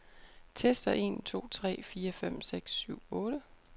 Tester en to tre fire fem seks syv otte.